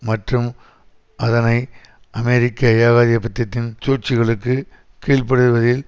மற்றும் அதனை அமெரிக்க ஏகாதிபத்தியத்தின் சூழ்ச்சிகளுக்கு கீழ்ப்படுத்துவதில்